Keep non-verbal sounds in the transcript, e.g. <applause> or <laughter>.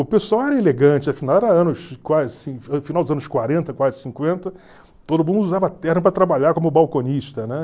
O pessoal era elegante, afinal era anos, quase <unintelligible> final dos anos quarenta, quase cinquenta todo mundo usava terno para trabalhar como balconista, né?